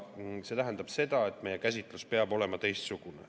See tähendab seda, et meie käsitlus peab olema teistsugune.